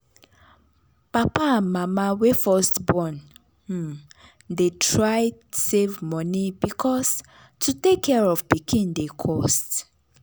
papa and mama wey first born um dey try save money because to take care of pikin dey cost.